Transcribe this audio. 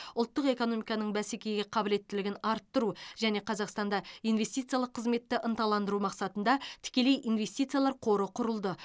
ұлттық экономиканың бәсекеге қабілеттілігін арттыру және қазақстанда инвестициялық қызметті ынталандыру мақсатында тікелей инвестициялар қоры құрылды